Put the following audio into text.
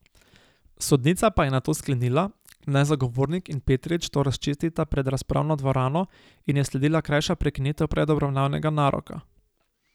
Sodnica pa je nato sklenila, naj zagovornik in Petrič to razčistita pred razpravno dvorano in je sledila krajša prekinitev predobravnavnega naroka.